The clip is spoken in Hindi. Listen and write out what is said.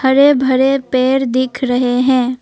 हरे भरे पेड़ दिख रहे हैं।